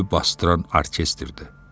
basdıran orkestrdir.